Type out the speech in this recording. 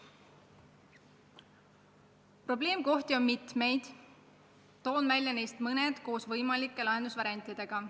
Probleemkohti on mitu, toon neist välja mõned koos võimalike lahendusvariantidega.